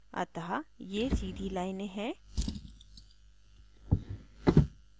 अतः ये सीधी लाइनें हैं